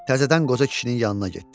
Təzədən qoca kişinin yanına getdi.